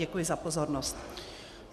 Děkuji za pozornost.